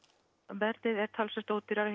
verðið er talsvert ódýrara